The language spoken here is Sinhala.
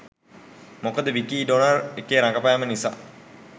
මොකද විකී ඩොනර් එකේ රඟපෑම නිසා